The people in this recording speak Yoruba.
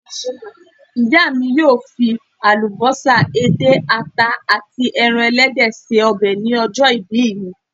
Ìyá mi yóò fi àlùbọ́sà, edé, àta àti ẹran ẹlẹ́dẹ̀ ṣe ọbẹ̀ ní ọjọ́ ìbí me